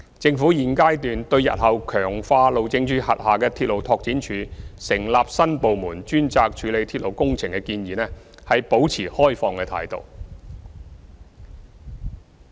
政府現階段對日後強化路政署轄下的鐵路拓展處或成立新部門專責處理鐵路工程的建議，保持開放的態度。